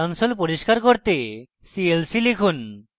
console পরিস্কার করতে clc লিখুন